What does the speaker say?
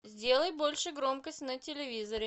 сделай больше громкость на телевизоре